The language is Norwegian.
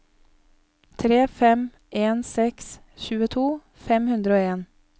tre fem en seks tjueto fem hundre og en